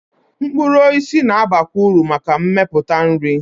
Mkpụrụ osisi na-abakwa uru maka mmepụta nri.